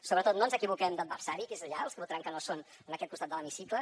sobretot no ens equivoquem d’adversari que és allà els que votaran que no són en aquest costat de l’hemicicle